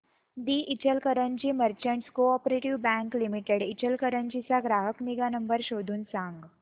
दि Ichalkaranji merchants co-op bank limited Ichalkaranji चा ग्राहक निगा नंबर शोधून सांग